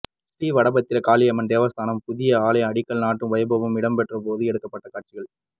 ஸ்ரீ வடபத்திர காளியம்மாள் தேவஸ்தான புதிய ஆலய அடிக்கல் நாட்டும் வைபவம் இடம்பெற்றபோது எடுக்கப்பட்ட காட்சிகள்